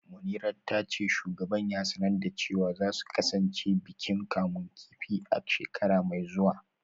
Munirat ta ce shugaban ya sanar da cewa za su kasance bikin kamun kifi a shekara mai zuwa